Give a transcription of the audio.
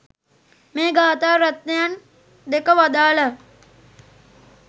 මේ ගාථා රත්නයන් දෙක වදාළා.